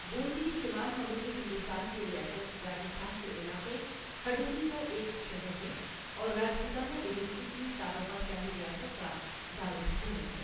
بُوندی شمال مغربی ہندوستان کی ریاست راجستھان کے علاقے ہڈوتی کا ایک شہر ہے اور راجپوتانہ ایجنسی کی سابقہ شاہی ریاست کا دارالحکومت ہے۔